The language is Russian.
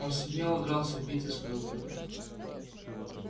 он смело дрался в битве сказал кто-то